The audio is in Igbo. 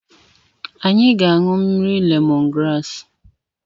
Anyị ga-anụ mmiri lemon graasị.